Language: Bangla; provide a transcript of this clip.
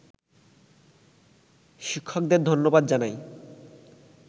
শিক্ষকদের ধন্যবাদ জানাই